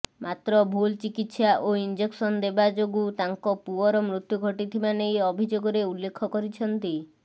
ମାତ୍ର ଭୂଲ୍ ଚିକିତ୍ସା ଓ ଇଂଜେକ୍ସନ ଦେବା ଯୋଗଁ ତାଙ୍କ ପୁଅର ମୃତ୍ୟୁ ଘଟିଥିବା ନେଇ ଅଭିଯୋଗରେ ଉଲ୍ଲେଖ କରିଛନ୍ତି